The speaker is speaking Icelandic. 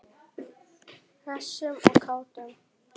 Hressum og kátum.